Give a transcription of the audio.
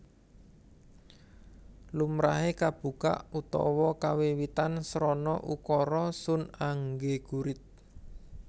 Lumrahe kabuka utawa kawiwitan srana ukara Sun anggegurit